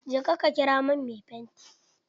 Je ka ƙira min mai fanti!